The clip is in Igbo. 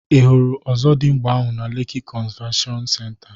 Ị hụrụ Ọzọdimgba ahụ na Leki konzaveshon senta?